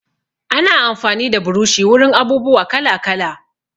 Ana amfani da burushi wurin abubuwa kala-kala.